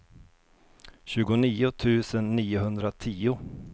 tjugonio tusen niohundratio